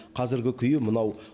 қазіргі күйі мынау